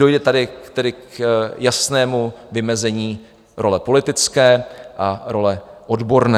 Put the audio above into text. Dojde tady k jasnému vymezení role politické a role odborné.